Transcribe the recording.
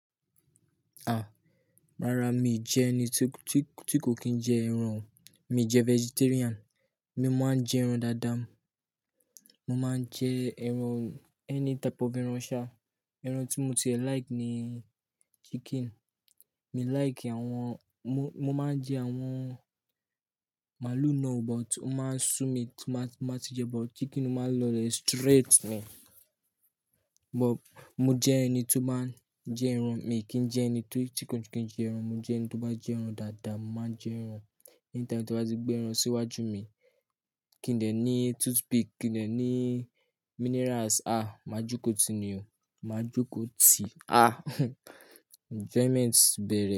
Ah! Rárá, mi jẹ ẹni tí kò kí n jẹ ẹran. Mi jẹ vegetarian. Mo máa ń jẹ ẹran dáadáa. Mo máa ń jẹ ẹran, ẹni type of ẹran ṣá. Ẹran tí mo ti like ni chicken. Mi like àwọn-- mo máa ń jẹ àwọn màálù náà, but ó máa ń sú mi tí máa ti jẹ, but chicken máa ń lọ lè straight mi. But mo jẹ ẹni tó máa ń jẹ ẹran. Mi kì í jẹ ẹni tí kò kí n jẹ ẹran. Mo jẹ ẹni tó bá jẹ ẹran dáadáa, mo máa n jẹ ẹran. Anytime tí wọ́n bá ti gbé ẹran síwájú mi, kí n dẹ̀ ní toothpick, kí n dẹ̀ ní minerals. Ah! Má jokó ti i ni o. Má jokó ti. Ah! Enjoyment bẹ̀rẹ̀.